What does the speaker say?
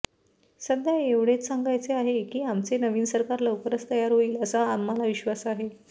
सध्या एवढेच सांगायचे आहे की आमचे नवीन सरकार लवकरच तयार होईल असा आम्हला विश्वास आहे